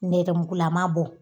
Nɛrɛmugulama bɔ